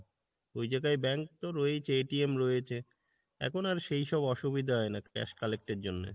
ওই জায়গায় bank তো রয়েছে রয়েছে, এখন আর সেই সব অসুবিধা হয় না cash collect এর জন্যে।